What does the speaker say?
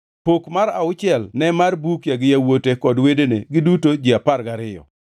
Pok mar auchiel ne mar Bukia gi yawuote kod wedene, giduto ji apar gariyo,